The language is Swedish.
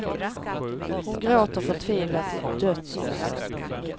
Hon gråter förtvivlat, i dödsångest.